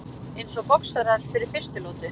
Eins og boxarar fyrir fyrstu lotu.